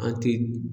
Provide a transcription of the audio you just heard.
A ti